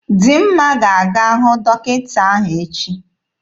Dimma ga-aga hụ dọkịta ahụ echi.